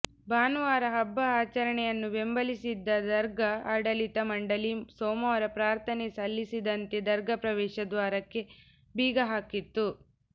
ಭಾನುವಾರ ಹಬ್ಬ ಆಚರಣೆಯನ್ನು ಬೆಂಬಲಿಸಿದ್ದ ದರ್ಗಾ ಆಡಳಿತ ಮಂಡಳಿ ಸೋಮವಾರ ಪ್ರಾರ್ಥನೆ ಸಲ್ಲಿಸದಂತೆ ದರ್ಗಾ ಪ್ರವೇಶ ದ್ವಾರಕ್ಕೆ ಬೀಗ ಹಾಕಿತ್ತು